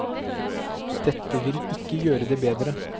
Dette vil ikke gjøre det bedre.